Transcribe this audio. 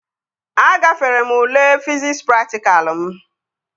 Agafere m ule fiziks praktikalụ m